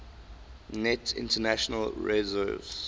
net international reserves